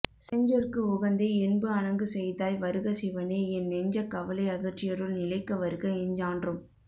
செஞ்சொற்கு உகந்தே என்பு அணங்கு செய்தாய் வருக சிவனே என் நெஞ்சக் கவலை அகற்றியருள் நிலைக்க வருக எஞ்ஞான்றும்